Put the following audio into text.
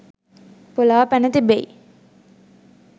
පොලා පැනතිබෙයි